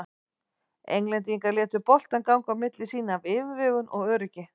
Englendingar létu boltann ganga á milli sín af yfirvegun og öryggi.